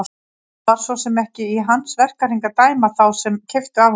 Það var svo sem ekki í hans verkahring að dæma þá sem keyptu af honum.